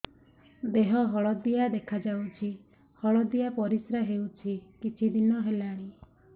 ଦେହ ହଳଦିଆ ଦେଖାଯାଉଛି ହଳଦିଆ ପରିଶ୍ରା ହେଉଛି କିଛିଦିନ ହେଲାଣି